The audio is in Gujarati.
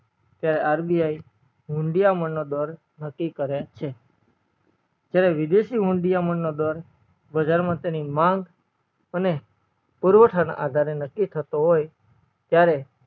ત્યારે RBI હુંડીયામણ નો દર નકી કરે છે જયારે વિદેશી હુંડીયામણ નો દર બજાર માં તેની માંગ અને પુરવઠા ના આધારે નકી થતો હોય ત્યારે